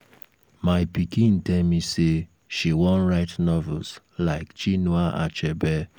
my pikin tell me say she wan write novels like chinua achebe